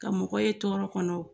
Ka mɔgɔ ye tɔɔrɔ kɔnɔ